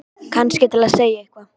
Kannski til að segja eitthvað.